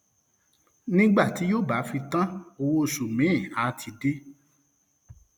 nígbà tí yóò bá fi tán owó oṣù miín àá ti dé